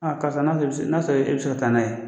karisa n'a sɔrɔ e bɛ se n'a sɔrɔ e bɛ se ka taa n'a ye